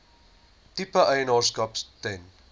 tipe eienaarskap ten